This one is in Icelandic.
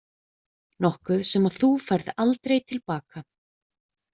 Nokkuð sem þú færð aldrei til baka.